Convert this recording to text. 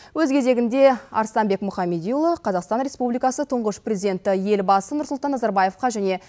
өз кезегінде арыстанбек мұхамедиұлы қазақстан республикасы тұңғыш президенті елбасы нұрсұлтан назарбаевқа және